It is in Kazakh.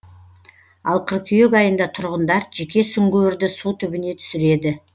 ал қыркүйек айында тұрғындар жеке сүңгуірді су түбіне түсіреді